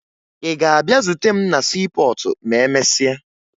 Ị ga-abịa zute m na siipọọtụ ma emesịa?